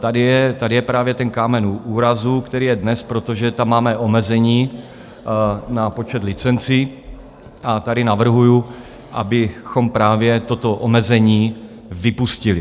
Tady je právě ten kámen úrazu, který je dnes, protože tam máme omezení na počet licencí, a tady navrhuju, abychom právě toto omezení vypustili.